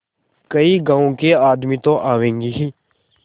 कई गाँव के आदमी तो आवेंगे ही